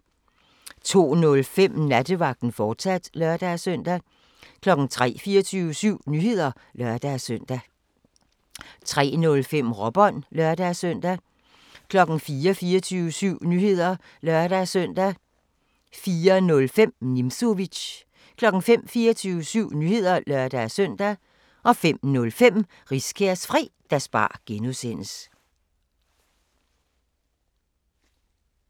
02:05: Nattevagten, fortsat (lør-søn) 03:00: 24syv Nyheder (lør-søn) 03:05: Råbånd (lør-søn) 04:00: 24syv Nyheder (lør-søn) 04:05: Nimzowitsch 05:00: 24syv Nyheder (lør-søn) 05:05: Riskærs Fredagsbar (G)